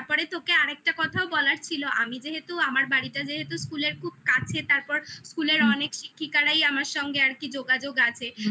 তারপরে তোকে আর একটা কথাও বলার ছিল আমি যেহেতু আমার বাড়িটা যেহেতু school এর খুব কাছে তারপর school এর অনেক আমার সঙ্গে আর কি যোগাযোগ আছে